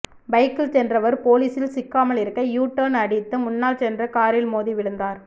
பைக்கில் சென்றவர் போலீசில் சிக்காமல் இருக்க யூ டர்ன் அடித்து முன்னால் சென்ற காரில் மோதி விழுந்தார்